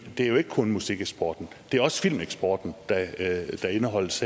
er jo ikke kun musikeksporten det er også filmeksporten der indeholdes